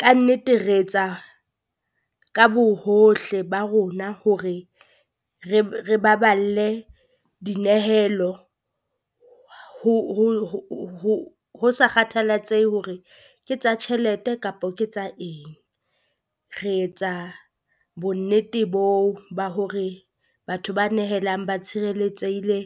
Kannete re etsa ka bohohle ba rona hore re re baballe dinehelo ho sa kgathalatsehe hore ke tsa tjhelete kapo ke tsa eng. Re etsa bonnete boo ba hore batho ba nehelang ba tshireletsehile